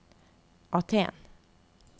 Aten